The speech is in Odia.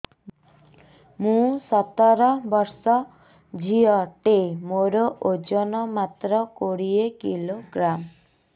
ମୁଁ ସତର ବର୍ଷ ଝିଅ ଟେ ମୋର ଓଜନ ମାତ୍ର କୋଡ଼ିଏ କିଲୋଗ୍ରାମ